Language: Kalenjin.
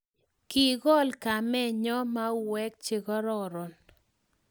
kikol kamenyo mauek che kororonen